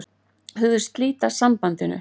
Hugðist slíta sambandinu